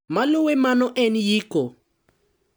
Maluwe mano en yiko.